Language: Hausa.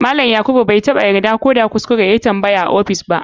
Malam yakuba bai taba yarda ko da kuskure yayi tambaya a office ba.